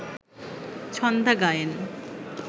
Chhanda Gayen